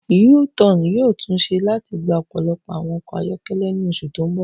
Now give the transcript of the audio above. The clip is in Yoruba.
U-Tan yoo tun ṣe lati gba ọpọlọpọ awọn ọkọ ayọkẹlẹ ni oṣu ti n bọ.